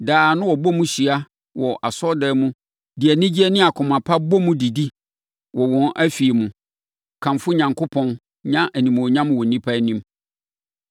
Daa na wɔbɔ mu hyia wɔ asɔredan mu de anigyeɛ ne akoma pa bɔ mu didi wɔ wɔn afie mu, kamfo Onyankopɔn, nya animuonyam wɔ nnipa anim.